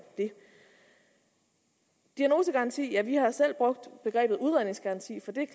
det diagnosegaranti ja vi har selv brugt begrebet udredningsgaranti for det